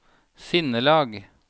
sinnelag